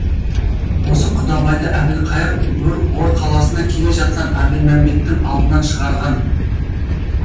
осы құдабайды әбілқайыр ор қаласына келе жатқан әбілмәмбеттің алдынан шығарған